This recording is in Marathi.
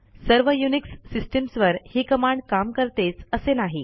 सर्व युनिक्स सिस्टिम्सवर ही कमांड काम करतेच असे नाही